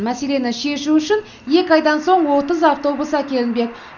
мәселені шешу үшін екі айдан соң отыз автобус әкелінбек